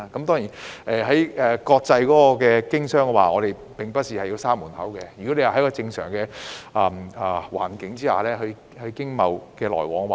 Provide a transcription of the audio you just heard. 在國際經商方面，我們並不是要把門關上，亦會繼續支持在正常環境下進行經貿來往。